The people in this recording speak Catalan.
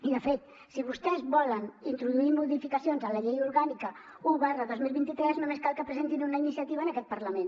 i de fet si vostès volen introduir modificacions a la llei orgànica un dos mil vint tres només cal que presentin una iniciativa en aquest parlament